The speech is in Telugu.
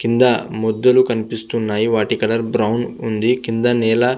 కింద మొద్దులు కనిపిస్తునాయి వాటి కలర్ బ్రౌన్ ఉంది కింద నేల --